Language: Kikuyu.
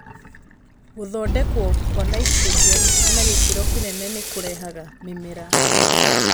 Gũthondekwo kwa nitrogen na gĩkĩro kĩnene nĩ kũrehaga mĩmera